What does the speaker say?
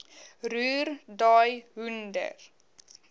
roer daai hoender